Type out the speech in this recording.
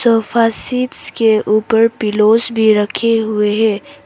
Sofa seats के ऊपर pillows भी रखे हुए हैं।